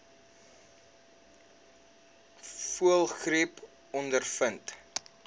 voëlgriep ondervind